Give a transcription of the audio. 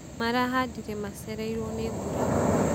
marahandire macereirwo nĩ mbura kwaga